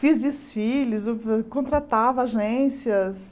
Fiz desfiles, contratava agências.